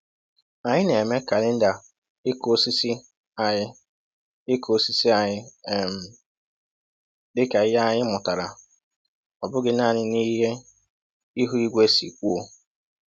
Anyị na-eme kalenda ịkụ osisi anyị ịkụ osisi anyị um dịka ihe anyị mụtara, ọ bụghị naanị n'ihe ihu igwe si kwuo.